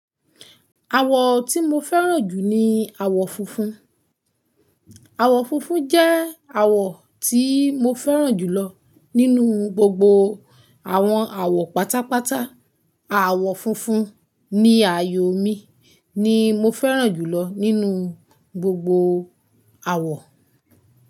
Àwọ̀ tí mo fẹ́ràn jù ni àwọ̀ funfun. Àwọ̀ funfun jẹ́ àwọ̀ tí mo fẹ́ràn jùlọ nínú gbogbo àwọn àwọ̀ pátápátá. Àwọ̀ funfun ní àyò mi ni mo fẹ́ràn jùlọ nínú gbogbo àwọ̀.